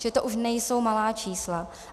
Že to už nejsou malá čísla.